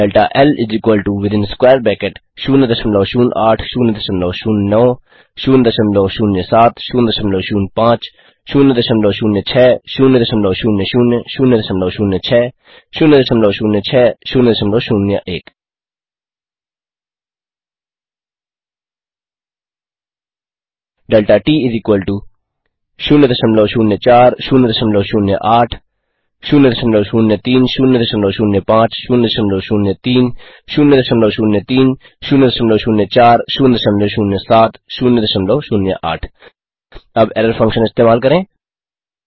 delta L within square bracket 008009007005006000006006001 delta T 004008003005003003004007008 अब error function इस्तेमाल करें